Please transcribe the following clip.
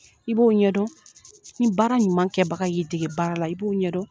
I b'o ɲɛdɔn, ni baara ɲuman kɛbaga y'i dege baara la i b'o ɲɛdɔn.